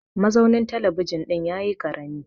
mazaunin talabijin ɗin ya yi karami